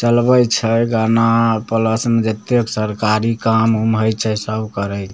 चलबे छै गाना प्लस में जेते सरकारी काम उम होय छै सब करय --